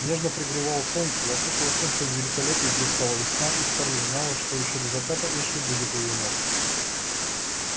нежно пригревало солнце вокруг во всем своём великолепии блистала весна и скарлетт знала что ещё до заката эшли будет у её ног